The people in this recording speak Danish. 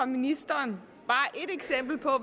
ministeren